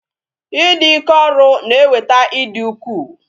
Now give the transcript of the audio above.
I dị ike ọrụ na-eweta ịdị ukwuu